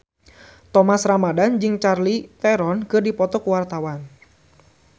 Thomas Ramdhan jeung Charlize Theron keur dipoto ku wartawan